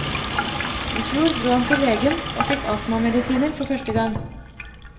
I fjor dro han til legen og fikk astmamedisiner for første gang.